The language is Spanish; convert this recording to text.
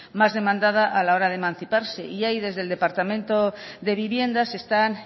más demandada a la hora de emanciparse y ahí desde el departamento de vivienda se están